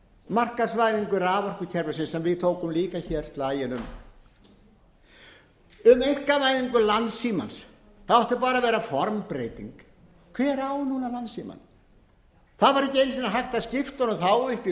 markaðsvæðingu raforkukerfisins sem við tókum líka slaginn um um einkavæðingu landssímans það átti bara að vera formbreyting hver á landssímann núna það var ekki einu sinni hægt að skipta honum þá upp í